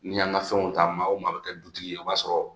N'i y'an ka fɛnw ta maa o maa bɛ kɛ dutigi ye o b'a sɔrɔ